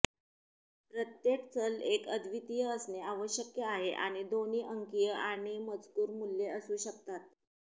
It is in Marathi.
प्रत्येक चल एक अद्वितीय असणे आवश्यक आहे आणि दोन्ही अंकीय आणि मजकूर मूल्ये असू शकतात